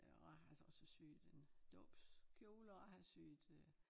Øh og jeg har så også syet en dåbskjole og har syet øh